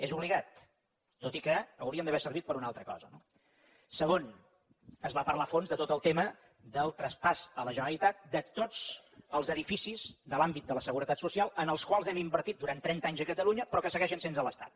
és obligat tot i que haurien d’haver servit per a una altra cosa no segon es va parlar a fons de tot el tema del traspàs a la generalitat de tots els edificis de l’àmbit de la seguretat social en els quals hem invertit durant trenta anys a catalunya però que segueixen sent de l’estat